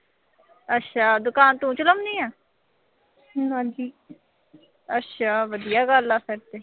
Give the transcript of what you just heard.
ਅੱਛਾ ਦੁਕਾਨ ਤੂੰ ਚਲਾਉਣੀ ਆਂ। ਅੱਛਾ ਵਧੀਆ ਗੱਲ ਆ ਫਿਰ ਤਾਂ